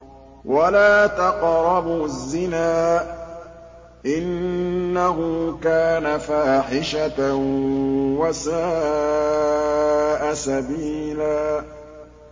وَلَا تَقْرَبُوا الزِّنَا ۖ إِنَّهُ كَانَ فَاحِشَةً وَسَاءَ سَبِيلًا